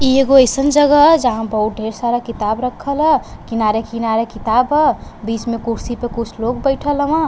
इ एगो अइसन जगह ह। जहाँ बहूत ढ़ेर सारा किताब रखल ह। किनारे किनारे किताब ह। बिच में कुर्सी पे कुछ लोग बइठल हावन।